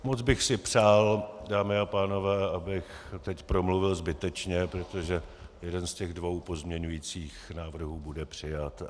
Moc bych si přál, dámy a pánové, abych teď promluvil zbytečně, protože jeden z těch dvou pozměňovacích návrhů bude přijat.